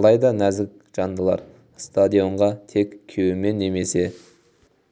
алайда нәзік жандылар стадионға тек күйеуімен немесе